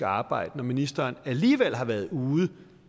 arbejde når ministeren alligevel har været ude